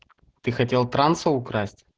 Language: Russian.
ты хотел транса украсть